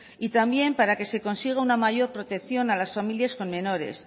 y también para que se consiga una mayor protección a las familias con menores